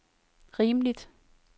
rimeligt